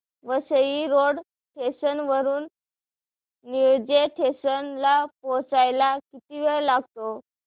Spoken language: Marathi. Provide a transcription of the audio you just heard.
वसई रोड स्टेशन वरून निळजे स्टेशन ला पोहचायला किती वेळ लागतो